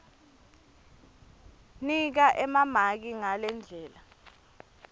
nika emamaki ngalendlela